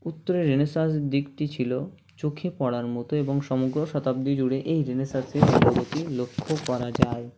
উত্তরে Renaissance দিকটি ছিল চোখে পড়ার মতো এবং সমগ্ৰ শতাব্দী জুড়ে এই Renaissance -এর অগ্ৰগতি লক্ষ্য করা যায়